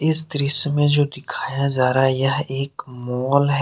इस दृश्य में जो दिखाया जा रहा है यह एक मॉल है।